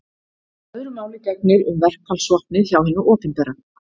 Öðru máli gegnir um verkfallsvopnið hjá hinu opinbera.